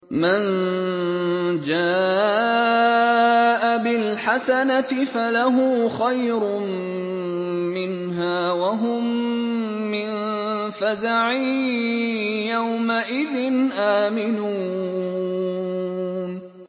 مَن جَاءَ بِالْحَسَنَةِ فَلَهُ خَيْرٌ مِّنْهَا وَهُم مِّن فَزَعٍ يَوْمَئِذٍ آمِنُونَ